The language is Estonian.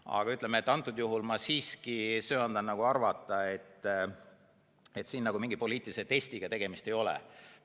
Aga antud juhul ma siiski söandan arvata, et siin mingi poliitilise testiga tegemist ei ole.